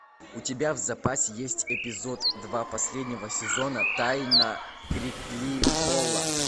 у тебя в запасе есть эпизод два последнего сезона тайна крикли холла